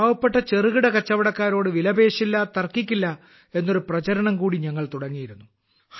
പാവപ്പെട്ട ചെറുകിട കച്ചവടക്കാരോട് വിലപേശില്ല തർക്കിക്കില്ല എന്നൊരു പ്രചാരണം കൂടി ഞങ്ങൾ തുടങ്ങിയിരുന്നു